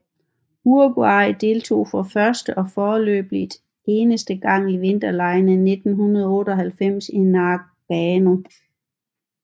Uruguay deltog for første og foreløbigt eneste gang i vinterlegene i 1998 i Nagano